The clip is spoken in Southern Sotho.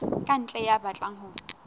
ka ntle ya batlang ho